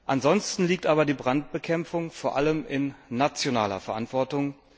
Ansonsten liegt aber die Brandbekämpfung vor allem in der nationalen Verantwortung.